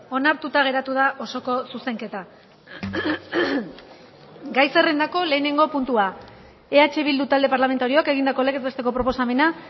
onartuta geratu da osoko zuzenketa gai zerrendako lehenengo puntua eh bildu talde parlamentarioak egindako legez besteko proposamena